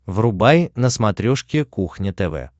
врубай на смотрешке кухня тв